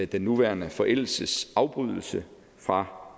den nuværende forældelsesafbrydelse fra